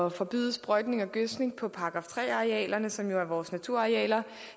at forbyde sprøjtning og gødskning på § tre arealerne som jo er vores naturarealer